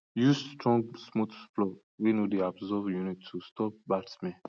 use strong smooth floor wey no dey absorb urine to stop bad smell